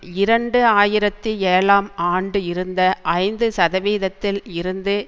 இரண்டு ஆயிரத்தி ஏழாம் ஆண்டு இருந்த ஐந்து சதவீதத்தில் இருந்து